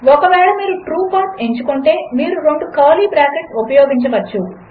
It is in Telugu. ఒకవేళమీరుట్రూపాత్ఎంచుకుంటే మీరురెండుకర్లీబ్రాకెట్స్ఉపయోగించవచ్చు